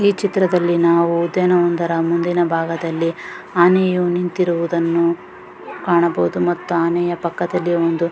ಈ ಚಿತ್ರದಲ್ಲಿ ನಾವು ಉದ್ಯಾನದ ಒಂದರ ಮುಂದಿನ ಬಾಗದಲ್ಲಿ ಆನೆಯು ನಿಂತಿರುವುದನ್ನು ಕಾಣಬಹುದು ಮತ್ತು ಆನೆಯ ಪಕ್ಕದಲ್ಲಿ ಒಂದು --